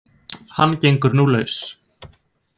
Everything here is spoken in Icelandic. Hann gengur nú laus